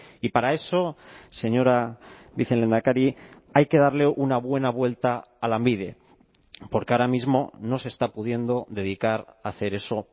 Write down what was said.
y para eso señora vicelehendakari hay que darle una buena vuelta a lanbide porque ahora mismo no se está pudiendo dedicar a hacer eso